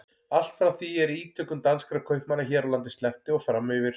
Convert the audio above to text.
Allt frá því er ítökum danskra kaupmanna hér á landi sleppti og fram yfir